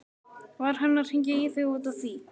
Var hann að hringja í þig út af því?